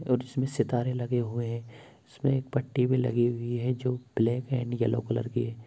और इसमें सितारे लगे हुए हैं इसमें एक पट्टी भी लगी हुई है जो ब्लैक एंड येलो कलर की है।